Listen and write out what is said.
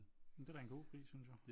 Det er da en god pris synes jeg